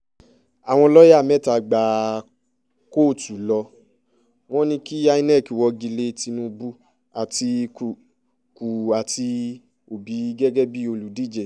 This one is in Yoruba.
àwọn lọ́ọ̀yà mẹ́ta gba kóòtù lọ wọ́n ní kí inec wọ́gi lé tinubu àtikukú àti òbí gẹ́gẹ́ bíi olùdíje